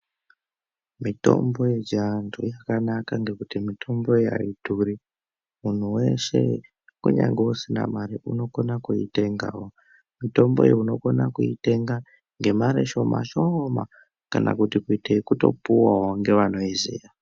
Mitombo yechiantu yakanaka ngekuti mitomboyi aidhuri. Munhu weshe ,kunyange usina mare unokona kuitengawo. Mitomboyi unokona kuitenga ,ngemare shoma shooma kana kuite ekutopuwawo ngevanoiziya.